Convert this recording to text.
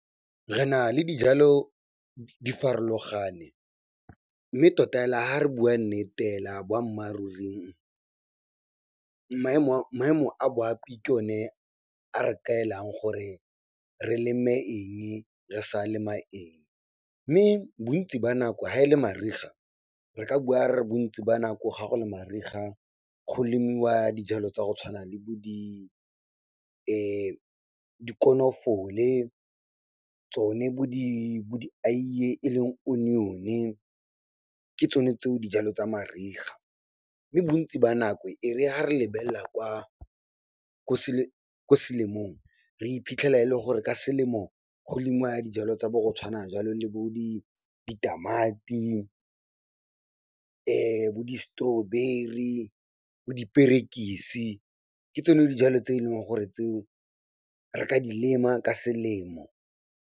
Re na le dijalo di farologane mme tota hela ha re bua nnete hela boammaaruri, maemo a boapi ke o ne a re kaelang gore re leme eng, re sa lema eng. Mme bontsi ba nako ga e le mariga, re ka bua re re bontsi ba nako ga go le mariga, go lemiwa dijalo tsa go tshwana le bo di dikonofole, tsone bo di aeye e leng onion, ke tsone tseo dijalo tsa mariga. Mme bontsi ba nako e re ha re lebelela kwa ko selemong, re iphitlhela e le gore ka selemo go lemiwa dijalo tsa bo go tshwana jalo le bo di ditamati, bo di-strawberry bo diperekisi, ke tsone dijalo tse e leng gore tseo re ka di lema ka selemo.